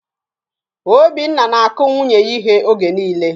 Obinna na-akụ nwunye ya íhé oge niile